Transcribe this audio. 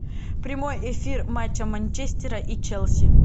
прямой эфир матча манчестера и челси